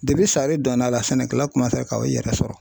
sari donna a la sɛnɛkɛla kun b'a fɛ ka i yɛrɛ sɔrɔ